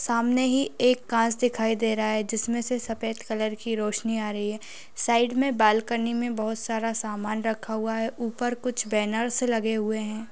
सामने यह एक कांच दिखाई दे रहा है जिसमे से सफेद कलर की रोशनी आ रही है साइड मे बालकनी मे बहुत सारा सामान रखा हुआ है ऊपर कुछ बैनरस लगे हुए है।